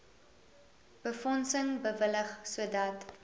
befondsing bewillig sodat